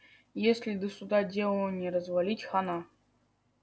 если до суда дело не развалить хана